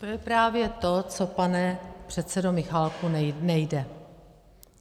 To je právě to, co, pane předsedo Michálku, nejde.